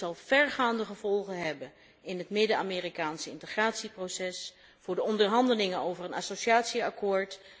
Dit zal vergaande gevolgen hebben voor het Midden Amerikaanse integratieproces, voor de onderhandelingen over een associatieovereenkomst.